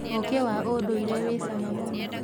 ũkĩ wa ũndũire wĩ cama mũno.